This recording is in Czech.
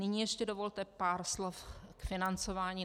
Nyní ještě dovolte pár slov k financování.